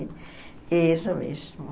É isso mesmo.